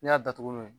N'i y'a datugu n'o ye